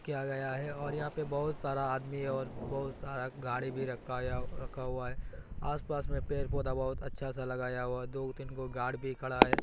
किया गया है और यहां पे बहुत सारा आदमी है और बहुत सारा गाड़ी भी रखा या रखा हुआ है आस-पास में पेड़-पौधा बोहोत अच्छा सा लगाया हुआ दोगो-तीनगो गार्ड भी खड़ा है।